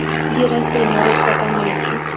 dire seno re tlhoka metsi